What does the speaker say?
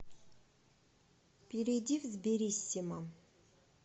перейди в сбериссимо